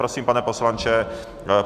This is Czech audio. Prosím, pane poslanče.